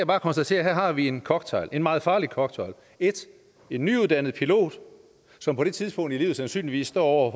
bare konstatere at her har vi en cocktail en meget farlig cocktail 1 en nyuddannet pilot som på det tidspunkt i livet sandsynligvis står over